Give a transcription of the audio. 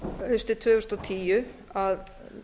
haustið tvö þúsund og tíu að